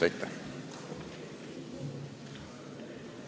Aitäh!